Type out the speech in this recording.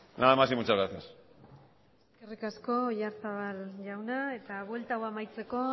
nada más y muchas gracias eskerrik asko oyarzabal jauna eta buelta hau amaitzeko